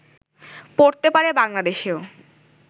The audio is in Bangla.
পড়তে পারে বাংলাদেশেও